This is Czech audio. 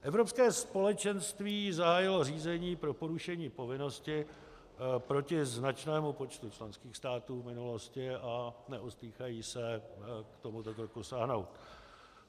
Evropské společenství zahájilo řízení pro porušení povinnosti proti značnému počtu členských států v minulosti a neostýchá se k tomuto kroku sáhnout.